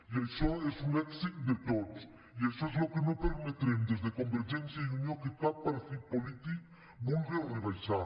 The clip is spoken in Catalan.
i això és un èxit de tots i això és el que no permetrem des de convergència i unió que cap partit polític vulgue rebaixar